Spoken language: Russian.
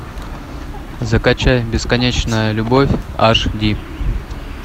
закачай бесконечная любовь аш ди